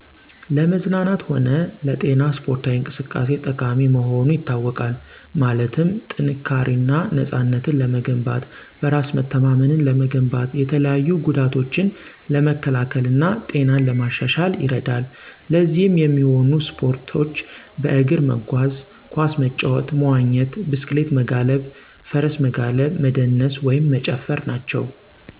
ለመዝናናት ሆነ ለጤና ሰፖርታዊ እንቅሰቃሴ ጠቃሚ መሆኑ ይታወቃል። ማለትም ጥንካሪና ነፅነትን ለመገንባት፣ በራሰ መተማመንን ለመገንባት፣ የተለያዩ ጎዳቶችን ለመከላከል እና ጤናን ለማሻሻል ይርዳል። ለዚህም የሚሆኖ ሰፖርቶች በእግር መጎዝ፣ ኮሰ መጫወት፣ መዎኘት፣ ብሰክሌት መጋለብ፣ ፍርሰ መጋለብ፣ መደነሰ ወይም መጨፍር ናቸው።